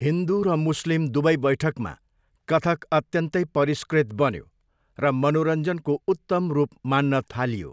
हिन्दू र मुस्लिम दुवै बैठकमा कथक अत्यन्तै परिष्कृत बन्यो र मनोरञ्जनको उत्तम रूप मान्न थालियो।